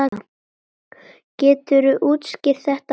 Geturðu útskýrt þetta betur?